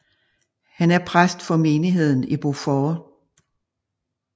Han er præst for menigheden i Beaufort